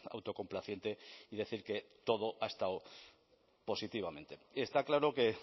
autocomplaciente y decir que todo ha estado positivamente está claro que